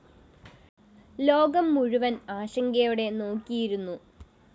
ലോകം മുഴുവന്‍ ആശങ്കയോടെ നോക്കിയിരുന്നു